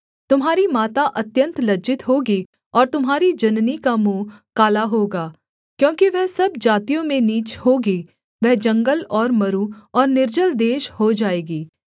तुम्हारी माता अत्यन्त लज्जित होगी और तुम्हारी जननी का मुँह काला होगा क्योंकि वह सब जातियों में नीच होगी वह जंगल और मरु और निर्जल देश हो जाएगी